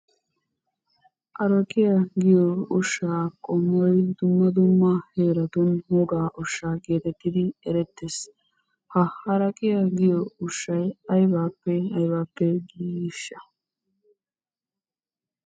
Haraqqiyaa giyoo ushshay qommoy dumma dumma heeratuni woggaa ushshaa geettetidi erettes. Ha haraqqiyaa giyaa ushshay aybaappe aybaappe kiyiyshsha?